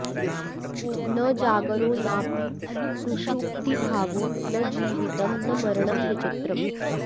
न जागरो नापि सुषुप्तिभावो न जीवितं नो मरणं विचित्रम्